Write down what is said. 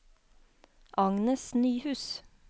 Agnes Nyhus